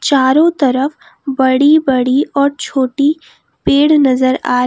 चारों तरफ बड़ी बड़ी और छोटी पेड़ नजर आ--